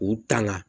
K'u tanga